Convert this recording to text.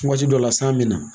Waati dɔ la san bɛ na